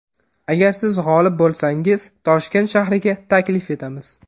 Agar siz g‘olib bo‘lsangiz Toshkent shahriga taklif etamiz.